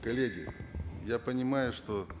коллеги я понимаю что